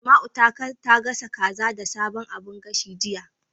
Asma'u ta gasa kaza da sabon abun gashin, jiya.